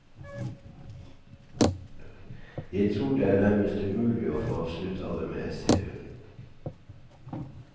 Jeg tror det er nærmestumulig å få absolutt alle med, sier hun.